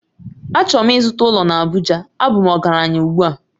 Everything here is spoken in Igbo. Achọrọ m ịzụta ụlọ na Abuja, a bụ m ọgaranya ugbu a